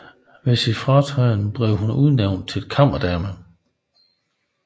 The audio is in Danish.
Ved sin fratræden blev hun udnævnt til kammerdame